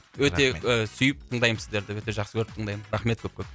өте ы сүйіп тыңдаймын сіздерді өте жақсы көріп тыңдаймын рахмет көп көп